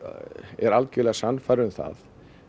er algjörlega sannfærður um það